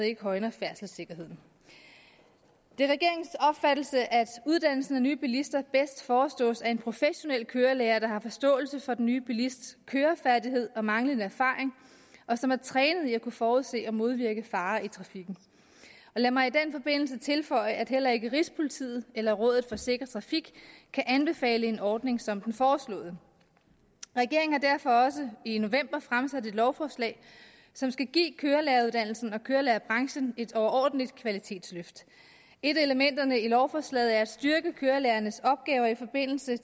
ikke højner færdselssikkerheden det er regeringens opfattelse at uddannelsen af nye bilister bedst forestås af en professionel kørelærer der har forståelse for den nye bilists kørefærdighed og manglende erfaring og som er trænet i at kunne forudse og modvirke farer i trafikken og lad mig den forbindelse tilføje at heller ikke rigspolitiet eller rådet for sikker trafik kan anbefale en ordning som den foreslåede regeringen har derfor også i november fremsat et lovforslag som skal give kørelæreruddannelsen og kørelærerbranchen et overordentlig kvalitetsløft et af elementerne i lovforslaget er at styrke kørelærernes opgaver i forbindelse